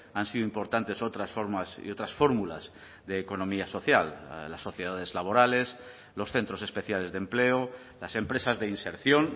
han sido importantes otras formas y otras fórmulas de economía social las sociedades laborales los centros especiales de empleo las empresas de inserción